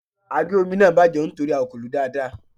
Àgé omi náà bàjẹ́ nítorí a kò lòó dáadáa.